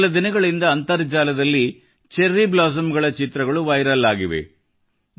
ಕೆಲ ದಿನಗಳಿಂದ ಅಂತರ್ಜಾಲದಲ್ಲಿ ಚೆರ್ರಿ ಬ್ಲಾಸಮ್ ಗಳ ಚಿತ್ರಗಳು ವೈರಲ್ ಆಗಿವೆ